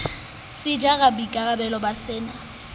se jara boikarabello ba sena